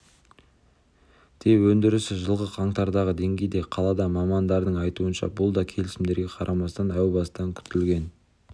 де өндірісі жылғы қаңтардағы деңгейде қалады мамандардың айтуынша бұл да келісімдерге қарамастан әу бастан күтілген